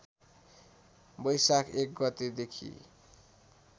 वैशाख १ गतेदेखि